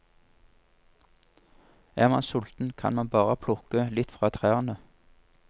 Er man sulten kan man bare plukke litt fra trærne.